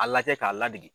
A lajɛ k'a ladege